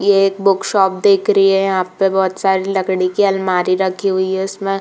ये एक book shop देख रही है। यहाँ पे बहोत सारी लकड़ी की अलमारी रखी हुई हैं। उसमें --